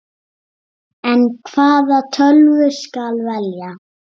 En hvaða tölvu skal velja?